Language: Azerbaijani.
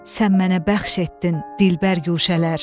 Sən mənə bəxş etdin dilbər guşələr.